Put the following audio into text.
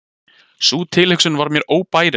Sú tilhugsun var mér óbærileg.